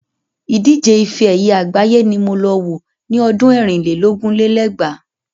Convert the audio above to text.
Ìdíje ifẹ ẹ̀yẹ àgbáyé ni mo lọ wo ni ọdún ẹ̀rin lé lógún lé lẹ́gbàá.